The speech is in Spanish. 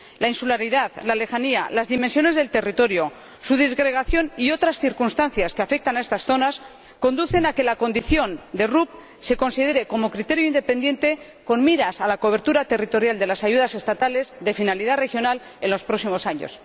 La insularidad, la lejanía, las dimensiones del territorio, su disgregación y otras circunstancias que afectan a estas zonas conducen a que la condición de RUP se considere como criterio independiente con miras a la cobertura territorial de las ayudas estatales de finalidad regional en los próximos años.